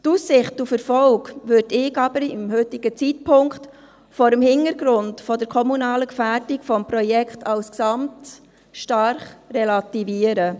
Die Aussicht auf Erfolg würde ich aber zum heutigen Zeitpunkt, vor dem Hintergrund der kommunalen Gefährdung des Projekts als gesamtem, stark relativieren.